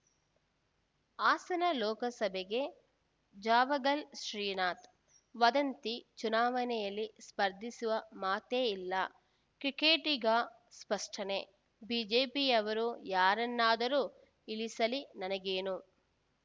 ಹಾಸನ ಲೋಕಸಭೆಗೆ ಜಾವಗಲ್‌ ಶ್ರೀನಾಥ್‌ ವದಂತಿ ಚುನಾವಣೆಯಲ್ಲಿ ಸ್ಪರ್ಧಿಸುವ ಮಾತೇ ಇಲ್ಲ ಕ್ರಿಕೆಟಿಗ ಸ್ಪಷ್ಟನೆ ಬಿಜೆಪಿಯವರು ಯಾರನ್ನಾದರೂ ಇಳಿಸಲಿ ನನಗೇನು